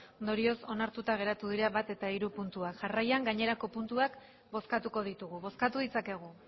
ondorioz onartuta geratu dira bat eta hiru puntuak jarraian gainerako puntuak bozkatuko ditugu bozkatu ditzakegu